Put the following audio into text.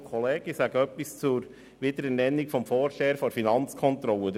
Ich möchte etwas zur Wiederernennung des Vorstehers der Finanzkontrolle sagen.